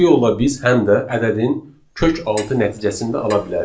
Bu yolla biz həm də ədədin kökaltı nəticəsini də ala bilərik.